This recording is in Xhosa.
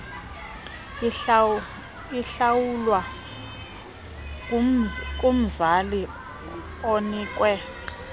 ihlawulwa kumzali onikwe